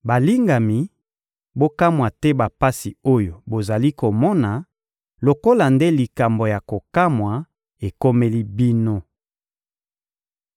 Balingami, bokamwa te bapasi oyo bozali komona, lokola nde likambo ya kokamwa ekomeli bino.